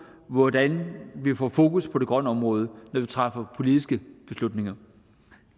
hvordan vi får fokus på det grønne område når vi træffer politiske beslutninger